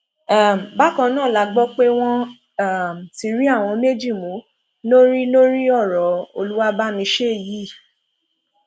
um bákan náà la gbọ pé wọn um ti rí àwọn méjì mú lórí lórí ọrọ olùwàbàmiṣẹ yìí